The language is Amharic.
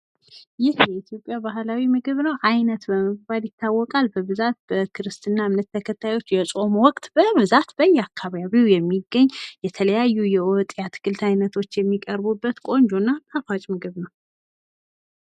ይህ የኢትዮጵያ ባህላዊ ምግብ ነው ፤ አይነት በመባል ይታወቃል ፤ በብዛት በክርስትና እምነት ተከታዮች የጾም ወቅት በብዛት በየአካባቢው የሚገኝ የተለያዩ የወጥ፣ የአትክልት አይነቶች የሚገኙበት ቆንጆ እና ጣፋጭ ምግብ ነው።